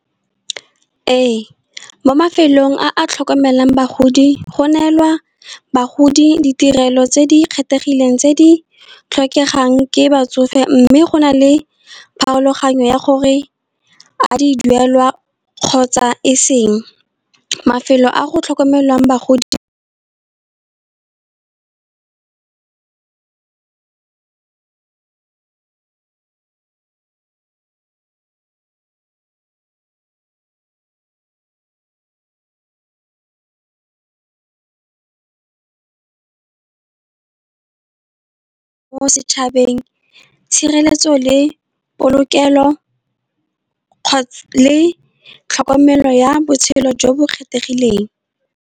Ee, mo mafelong a a tlhokomelang bagodi go neelwa bagodi ditirelo tse di kgethegileng tse di tlhokegang ke batsofe. Mme go na le pharologanyo ya gore a di duelwa kgotsa e seng, mafelo a go tlhokomelwang bagodi mo setšhabeng, tshireletso le polokelo, kgotsa le tlhokomelo ya botshelo jo bo kgethegileng.